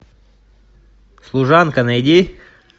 служанка найди